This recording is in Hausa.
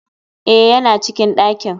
Eh yana cikin dakin.